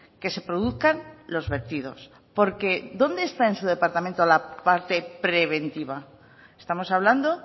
que se produzcan los vertidos porque dónde está en su departamento la parte preventiva estamos hablando